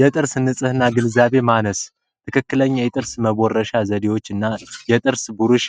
የጥርስ ንጽህና ግንዛቤ ማነስ ትክክለኛ የጥርስ መቦረሻ ዘዴዎች እና የጥርስ ብሩሽ